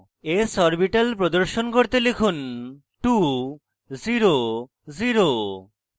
s orbital প্রদর্শন করতে লিখুন 2 0 0